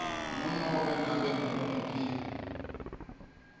ngunobe ngabe ngumuphi